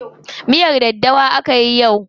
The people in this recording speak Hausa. Miyar daddawa akayi yau.